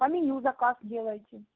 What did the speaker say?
по меню заказ делайте